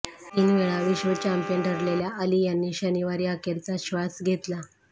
तीन वेळा विश्व चॅम्पियन ठरलेल्या अली यांनी शनिवारी अखेरचा श्वास घेतला